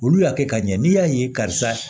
Olu y'a kɛ ka ɲɛ n'i y'a ye karisa